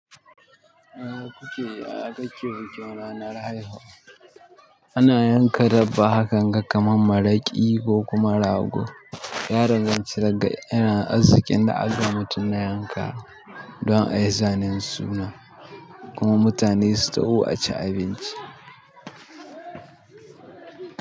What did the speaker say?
Eh ku ke, a ƙarshen bikin ranar haihuwa, ana yanka dabba, hakan ga kamar maraƙi ko kuma rago. Yaron zan cire ga yana azziken da a zama tunna yanka don a yi zanen suna kuma mutane su taho a ci abinci.